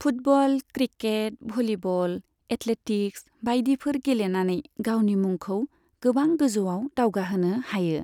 Football, cricket, volleyball, athletics बायदिफोर गेलेनानै गावनि मुंखौ गोबां गोजौआव दावगाहोनो हायो।